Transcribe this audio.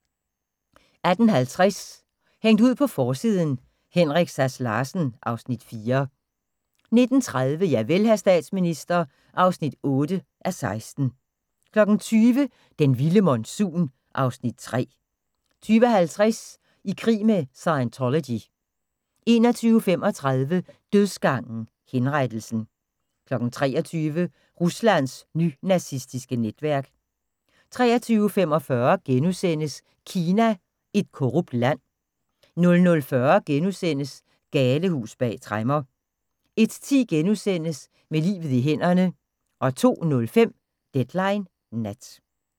18:50: Hængt ud på forsiden: Henrik Sass Larsen (Afs. 4) 19:30: Javel, hr. statsminister (8:16) 20:00: Den vilde monsun (Afs. 3) 20:50: I krig med Scientology 21:35: Dødsgangen - Henrettelsen 23:00: Ruslands nynazistiske netværk 23:45: Kina – et korrupt land * 00:40: Galehus bag tremmer * 01:10: Med livet i hænderne * 02:05: Deadline Nat